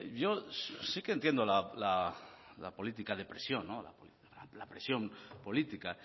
yo sí que entiendo la política de presión la presión política